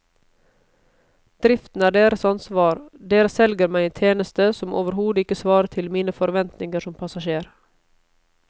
Driften er deres ansvar, dere selger meg en tjeneste som overhodet ikke svarer til mine forventninger som passasjer.